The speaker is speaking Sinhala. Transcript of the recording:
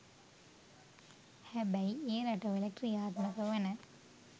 හැබැයි ඒ රටවල ක්‍රියාත්මක වන